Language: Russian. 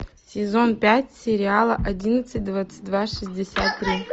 сезон пять сериала одиннадцать двадцать два шестьдесят три